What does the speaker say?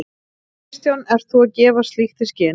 Kristján: Ert þú að gefa slíkt í skyn?